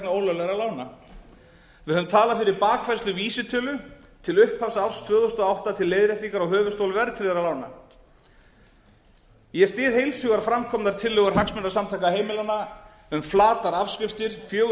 ólöglegra lána við höfum talað fyrir bakfærslu vísitölu til upphafs árs tvö þúsund og átta til leiðréttingar á höfuðstóli verðtryggðra lána ég styð heils hugar framkomnar tillögur hagsmunasamtaka heimilanna um flatar afskriftir fjögur